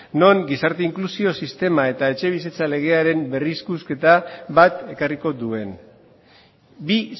non gizarte inklusio sistema eta etxebizitza legearen berrikusketa bat ekarriko duen bi